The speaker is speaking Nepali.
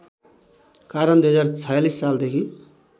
कारण २०४६ सालदेखि